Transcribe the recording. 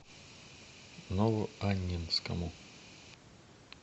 новоаннинскому